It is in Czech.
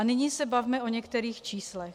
A nyní se bavme o některých číslech.